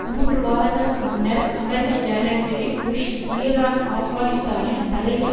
மூன்று வாரங்களுக்கு முன்னர் அமெரிக்க ஜனாதிபதி புஷ் ஈரான் ஆப்கானிஸ்தானில் தலையீடு